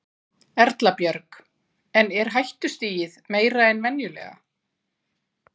Erla Björg: En er hættustigið meira en venjulega?